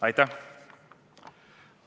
Aitäh!